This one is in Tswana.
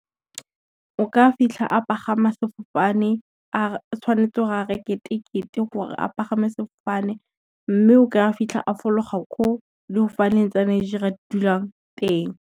O ka fitlha a pagama sefofane, tshwanetse go a reke tekete gore a pagame sefofane, mme o kry-a fitlha a fologa ko le go faneng tsa Nigeria dulang teng.